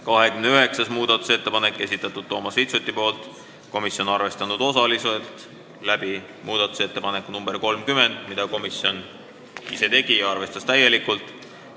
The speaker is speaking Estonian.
29. muudatusettepaneku on esitanud Toomas Vitsut, komisjon on seda arvestanud osaliselt muudatusettepaneku nr 30 abil, mille komisjon ise tegi ja mida täielikult arvestas.